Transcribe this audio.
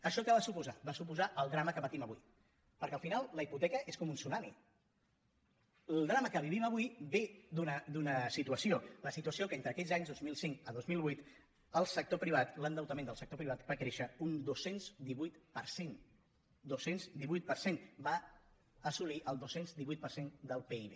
això què va suposar va suposar el drama que patim avui perquè al final la hipoteca és com un tsunami el drama que vivim avui ve d’una situació la situació que entre aquells anys dos mil cinc a dos mil vuit el sector privat l’endeutament del sector privat va créixer un dos cents i divuit per cent dos cents i divuit per cent va assolir el dos cents i divuit per cent del pib